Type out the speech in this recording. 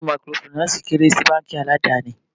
Báńkì Mikorofìnánsìì kéré sí báńkì aládàni.